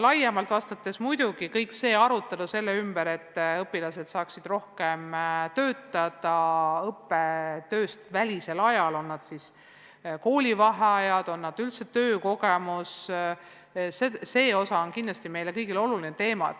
Laiemalt vastates, muidugi, kogu see arutelu selle ümber, et õpilased saaksid õppetöövälisel ajal rohkem töötada, olgu siis koolivaheajal või üldse töökogemuse mõttes, on meile kõigile oluline teema.